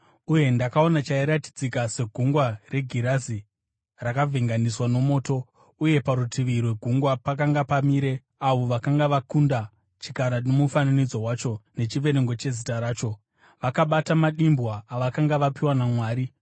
Uye ndakaona chairatidzika segungwa regirazi rakavhenganiswa nomoto uye parutivi rwegungwa pakanga pamire, avo vakanga vakunda chikara nomufananidzo wacho nechiverengo chezita racho. Vakabata madimbwa avakanga vapiwa naMwari